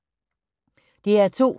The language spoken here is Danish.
DR2